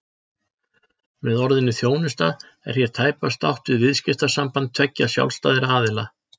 Með orðinu þjónusta er hér tæpast átt við viðskiptasamband tveggja sjálfstæðra aðila.